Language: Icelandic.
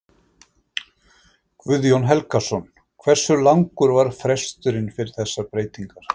Guðjón Helgason: Hversu langur var fresturinn fyrir þessar breytingar?